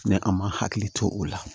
Ni an ma hakili to o la